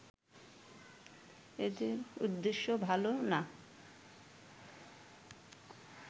এদের উদ্দেশ্য ভালো না